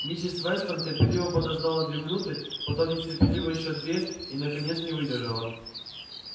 миссис вестон терпеливо подождала две минуты потом нетерпеливо ещё две и наконец не выдержала